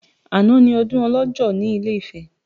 Àná ni ọdún ọlọ́jọ́ ní ilé Ifẹ̀